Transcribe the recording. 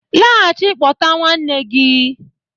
Laghachi pota nwanne gi